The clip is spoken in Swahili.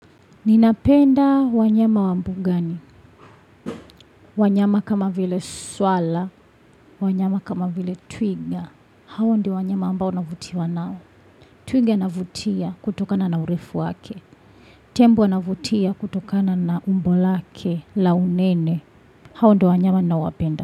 Ninapenda wanyama wambugani, wanyama kama vile swara, wanyama kama vile twiga, hao ndiowanyama ambao navutiwa nao. Twiga anavutia kutokana na urefu wake, tembo anavutia kutokana na umbo lake la unene, hao ndio wanyama nawapenda.